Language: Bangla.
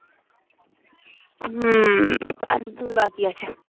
হম আর দুই বাকি আছে